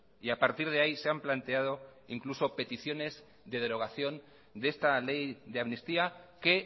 y a partir de ahí se han planteado incluso peticiones de derogación de esta ley de amnistía que